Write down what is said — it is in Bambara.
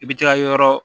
I bi t'i ka yɔrɔ